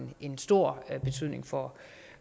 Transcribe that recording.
en stor betydning for